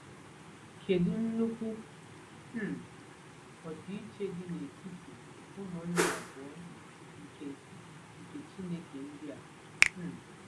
Kedu nnukwu um ọdịiche dị n’etiti ụmụnna abụọ nke nke Chineke ndị a! um